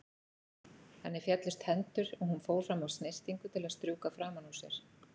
Henni féllust hendur og hún fór fram á snyrtingu til að strjúka framan úr sér.